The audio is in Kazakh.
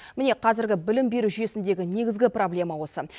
міне қазіргі білім беру жүйесіндегі негізгі проблема осы